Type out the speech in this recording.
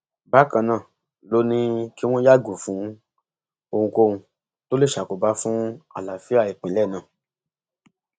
bákan náà ló ní kí wọn yàgò fún ohunkóhun tó lè ṣàkóbá fún àlàáfíà ìpínlẹ náà